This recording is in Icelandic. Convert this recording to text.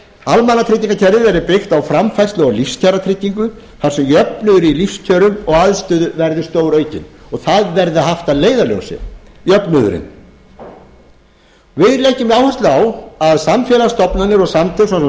almannatryggingakerfið verði byggt á framfærslu og lífskjaratryggingu þar sem jöfnuður í lífskjörum og aðstöðu verði stóraukinn og það verði haft að leiðarljósi jöfnuðurinn við leggjum áherslu á að samfélagsstofnanir og samtök eins og